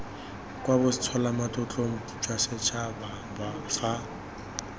kwa botsholamatlotlong jwa bosetšhaba fa